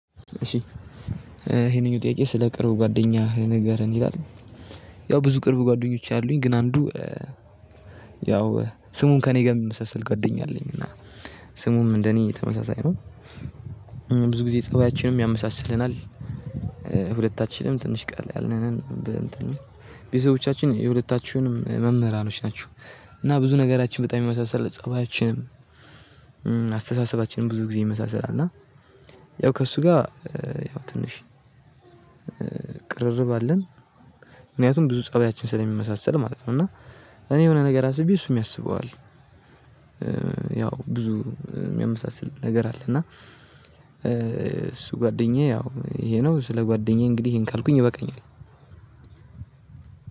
እሺ ይሄንኛው ጥያቄ ስለ ቅርብ ጓደኛ ንገርን ይላል ያው ብዙ ቅርብ ጓደኞች አሉኝ ግን አንዱ ያው ስሙን ከእኔ ጋር ሚመሳሰል ጓደኛ አለኝ እና ስሙም እንደኔ ተመሳሳይ ነው። ብዙ ጊዜ ጸባያችንም ያመሳስለናል። ሁለታችንም ትንሽ ቀላ ያልን ነን። ቤተሰቦቻችን የሁለታችሁንም መምህራኖች ናቸው እና ብዙ ነገራችን በጣም ይመሳሰላል ፀባያችንም አስተሳሰባችንም ብዙ ጊዜ ይመሳሰላል እና ያው ከእሱ ጋር ያው ትንሽ ቅርርብ አለን። ምክንያቱም ብዙ ፀባያችን ስለሚመሳሰል ማለት ነው እና እኔ የሆነ ነገር አስቤ እሱም ያስበዋል። ያው ብዙ ሚያመሳስል ነገር አለ እና እሱ ጓደኛዬ ያው ይሄ ነው ስለ ጓደኛዬ እንግዲህ ይሄን ካልኩኝ ይበቃኛል።